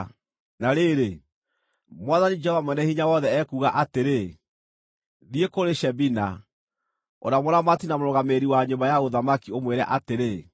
Na rĩrĩ, Mwathani Jehova Mwene-Hinya-Wothe ekuuga atĩrĩ: “Thiĩ kũrĩ Shebina, ũrĩa mũramati na mũrũgamĩrĩri wa nyũmba ya ũthamaki, ũmwĩre atĩrĩ: